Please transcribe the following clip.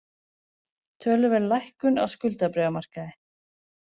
Töluverð lækkun á skuldabréfamarkaði